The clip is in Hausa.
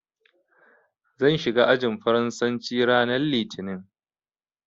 Zan shiga ajin Faransanci ranar Litinin.